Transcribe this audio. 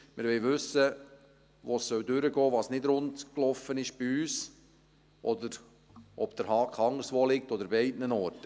Wir wollen wissen, wo es durchgehen soll, was nicht rund gelaufen ist bei uns, oder ob der Haken anderswo liegt oder an beiden Orten.